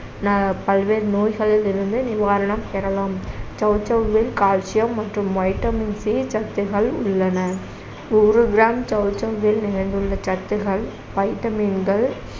ந~ பல்வேறு நோய்களில் இருந்து நிவாரணம் பெறலாம் சௌசௌவில் calcium மற்றும் vitamin C சத்துகள் உள்ளன ஒரு gram சௌசௌவில் நிறைந்துள்ள சத்துகள் vitamin கள்